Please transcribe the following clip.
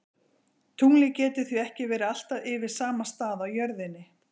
Tunglið getur því ekki verið alltaf yfir sama stað á jörðinni.